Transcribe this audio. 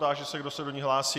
Táži se, kdo se do ní hlásí.